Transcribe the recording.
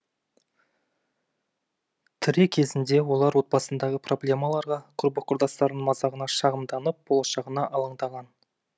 тірі кезінде олар отбасындағы проблемаларға құрбы құрдастарының мазағына шағымданып болашағына алаңдаған